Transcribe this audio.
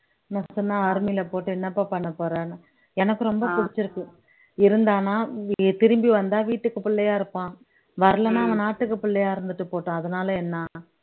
நஷ்டமா army ல போட்டு என்னப்பா பண்ண போறன்னு எனக்கு ரொம்ப பிடிச்சிருக்கு இருந்தான்னா திரும்பி வந்தா வீட்டுக்கு பிள்ளையா இருப்பான் வரலைன்னா அவன் நாட்டுக்கு பிள்ளையா இருந்துட்டு போகட்டும் அதனால என்ன